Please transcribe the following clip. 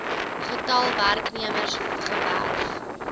getal werknemers gewerf